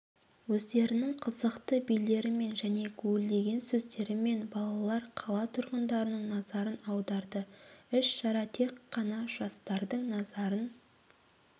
өздерінің қызықты билерімен және гулдеген сөздерімен балалар қала тұрғындарының назарын аударды іс-шара тек қана жастардың назарын